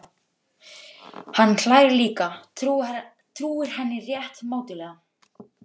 Hann hlær líka, trúir henni rétt mátulega.